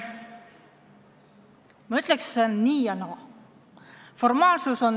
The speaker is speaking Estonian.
Ma ütleks, et see on nii ja naa.